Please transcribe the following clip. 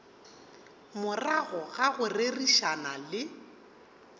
morago ga go rerišana le